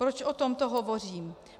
Proč o tomto hovořím?